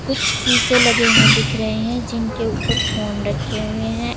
कुछ शीशे लगे हुए दिख रहे हैं जिनके ऊपर फोन रखे हुए हैं।